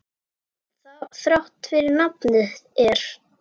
Þrátt fyrir nafnið er.